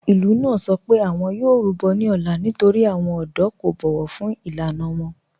Ìlú náà sọ pé awọn yóò rúbọ̀ ní òlá nítorí awọn ọdọ̀ kò bọ̀wọ̀ fún ilànà wọn.